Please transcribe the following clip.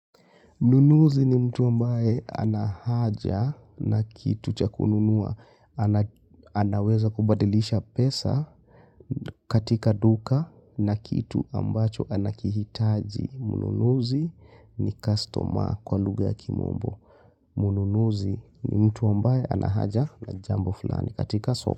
Mnunuzi ni mtu mbaye anahaja na kitu chakununua. Anaweza kubadilisha pesa katika duka na kitu ambacho anakihitaji. Mnunuzi ni customer kwa lugha ya kimombo. Mnunuzi ni mtu ambaye anahaja na jambo fulani katika soko.